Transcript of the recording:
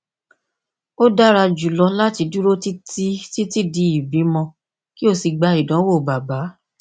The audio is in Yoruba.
o dara julọ lati duro titi titi di ibimọ ki o si gba idanwo baba